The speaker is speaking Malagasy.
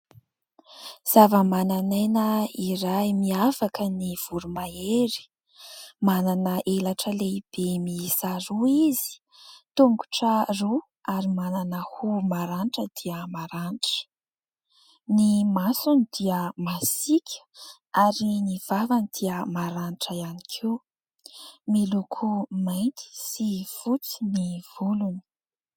Zavamananaina iray miavaka ny voromahery manana elatra lehibe miisa roa izy, tongotra roa ary manana hoho maranitra dia maranitra, ny masony dia masika ary ny vavany dia maranitra ihany koa, miloko mainty sy fotsy ny volony.